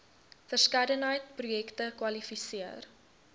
verskeidenheid projekte kwalifiseer